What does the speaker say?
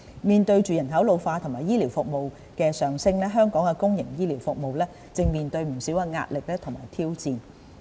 面對人口老化和醫療服務需求的上升，香港的公營醫療服務正面對不少壓力和挑戰。